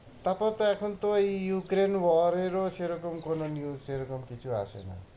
তারপর এখন তো ওই Ukraine war এর ও সেরকম কোনো news সেরকম কিছু আসে না।